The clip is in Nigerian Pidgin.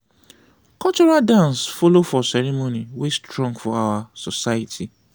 cultural dance follow for ceremony wey strong for our society.